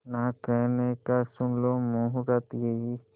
ना कहने का सुन लो मुहूर्त यही